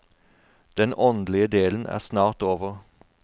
Den åndelige delen er snart over.